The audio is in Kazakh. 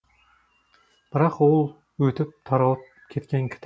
бірақ ол өтіп таралып кеткен кітап